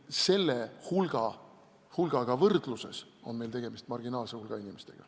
Selle hulgaga võrdluses on meil tegemist marginaalse hulga inimestega.